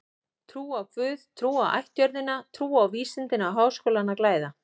Trú á guð, trú á ættjörðina, trú á vísindin á Háskólinn að glæða.